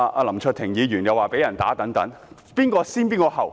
林卓廷議員又說被人毆打等。